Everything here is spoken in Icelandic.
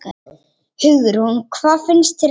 Hugrún: Hvað finnst þér um það?